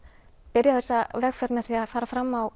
byrja þessa vegferð með að fara fram á